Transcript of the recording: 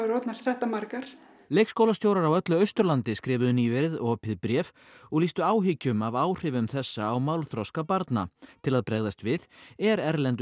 orðnar þetta margar leikskólastjórar á öllu Austurlandi skrifuðu nýverið opið bréf og lýstu áhyggjum af áhrifum þessa á málþroska barna til að bregðast við er erlendu